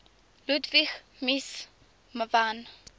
ludwig mies van